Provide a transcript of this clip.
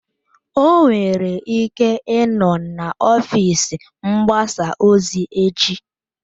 O nwere ike ịnọ na ọfịs mgbasa ozi echi